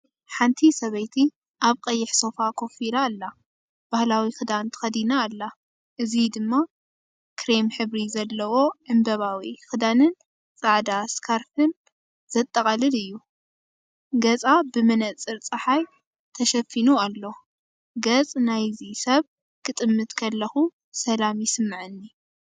ሓንቲ ሰበይቲ ኣብ ቀይሕ ሶፋ ኮፍ ኢላ ኣላ። ባህላዊ ክዳን ተኸዲና ኣላ፡ እዚ ድማ ክሬም ሕብሪ ዘለዎ ዕምባባዊ ክዳንን ጻዕዳ ስካርፍን/ሳሽን ዘጠቓልል እዩ። ገጻ ብመነጽር ጸሓይ ተሸፊኑ ኣሎ። ገጽ ናይዚ ሰብ ክጥምት ከለኹ ሰላም ይስምዓኒ።